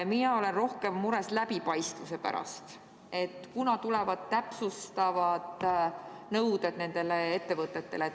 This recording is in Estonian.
Mina olen rohkem mures läbipaistvuse pärast ja selle pärast, kunas tulevad täpsustavad nõuded nendele ettevõtetele.